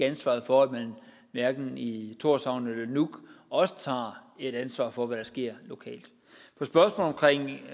ansvaret for at man hverken i tórshavn eller nuuk også tager et ansvar for hvad der sker lokalt